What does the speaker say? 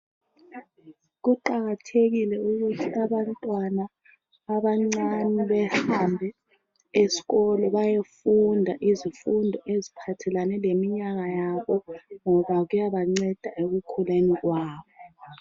Kuqakathekile ukuthi abantwana abancani bahambe esikolo bayefunda izifundo ezihambelana leminyaka yabo .Ngoba kuyanceda ekukhuleni kwabo.